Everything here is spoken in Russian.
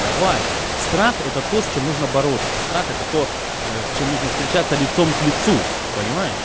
давай страх это то с чем нужно бороться страх это то с чем нужно встречаться лицом к лицу понимаешь